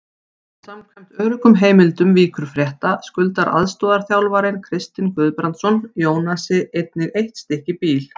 Samkvæmt öruggum heimildum Víkurfrétta skuldar aðstoðarþjálfarinn Kristinn Guðbrandsson Jónasi einnig eitt stykki bíl.